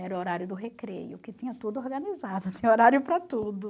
Era o horário do recreio, que tinha tudo organizado, tinha horário para tudo.